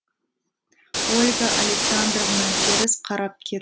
ольга александровна теріс қарап кет